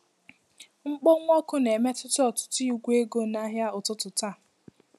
Mkpọnwụ ọkụ na-emetụta ọtụtụ igwe ego n'ahịa ụtụtụ taa.